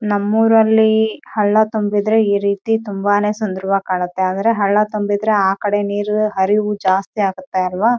ನಮ್ಮೂರಲ್ಲಿ ಹಳ್ಳ ತುಂಬಿದ್ರೆ ಈ ರೀತಿ ತುಂಬಾನೆ ಸುಂದರವಾಗಿ ಕಾಣುತ್ತೆ ಅಂದ್ರೆ ಹಳ್ಳ ತುಂಬಿದ್ರೆ ಆ ಕಡೆ ನೀರು ಹರಿವು ಜಾಸ್ತಿ ಆಗುತ್ತೆ ಅಲ್ವಾ.